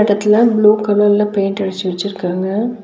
இந்த எடத்துல ப்ளூ கலர்ல பெயிண்ட் அடிச்சு வெச்சிருக்காங்க.